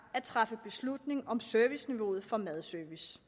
at træffe beslutning om serviceniveauet for madservice